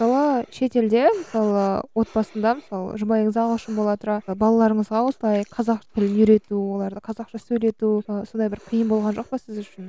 шетелде мысалы отбасында мысалы жұбайыңыз ағылшын бола тұра балаларыңызға осылай қазақ тілін үйрету оларды қазақша сөйлету мысалы сондай бір қиын болған жоқ па сіз үшін